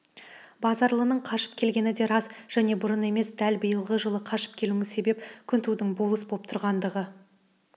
базаралының қашып келгені де рас және бұрын емес дәл биылғы жылы қашып келуіне себеп күнтудың болыс боп тұрғандығы